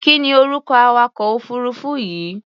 Kí ni orúkọ awakọ̀-òfuurufú yìí?